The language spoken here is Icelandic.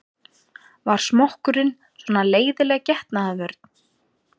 Var smokkurinn svona leiðinleg getnaðarvörn?